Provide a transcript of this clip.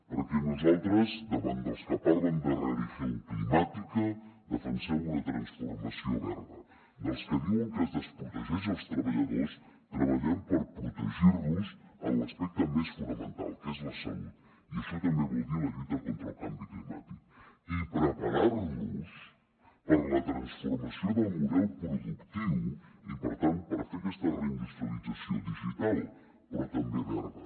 perquè nosaltres davant dels que parlen de religión climàtica defensem una transformació verda dels que diuen que és desprotegeix els treballadors treballem per protegir los en l’aspecte més fonamental que és la salut i això també vol dir la lluita contra el canvi climàtic i preparar nos per a la transformació del model productiu i per tant per fer aquesta reindustrialització digital però també verda